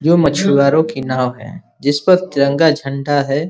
जो मछुवारों की नाव है जिस पर तिरंगा झंडा है।